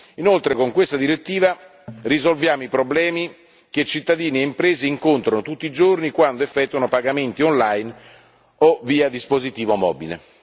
Inoltre con questa direttiva risolviamo i problemi che cittadini e imprese incontrano tutti i giorni quando effettuano pagamenti online o via dispositivo mobile.